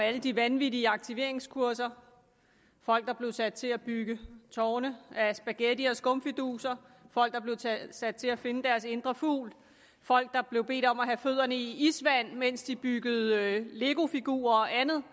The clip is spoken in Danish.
alle de vanvittige aktiveringskurser folk der blev sat til at bygge tårne af spaghetti og skumfiduser folk der blev sat til at finde deres indre fugl folk der blev bedt om at have fødderne i isvand mens de byggede legofigurer og andet